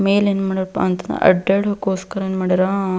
ಮೇಲೆ ಏನ್ ಮಾಡ್ಯಾರಪ್ಪಾ ಅಂತ ಅಂದರ ಅಡ್ಡಾಡೋಕೋಸ್ಕರ ಏನ್ ಮಾಡ್ಯಾರ--